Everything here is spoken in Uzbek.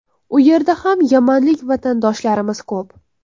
U yerda ham yamanlik vatandoshlarimiz ko‘p.